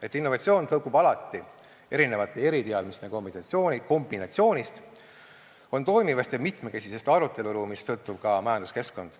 Et innovatsioon tõukub alati erinevate eriteadmiste kombinatsioonist, on toimivast ja mitmekesisest aruteluruumist sõltuv ka majanduskeskkond.